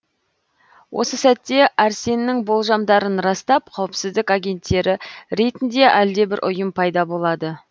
осы сәтте әрсеннің болжамдарын растап қауіпсіздік агенттері ретінде әлдебір ұйым пайда болады